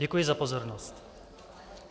Děkuji za pozornost.